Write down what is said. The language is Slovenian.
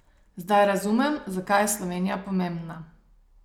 Zdaj razumem, zakaj je Slovenija pomembna.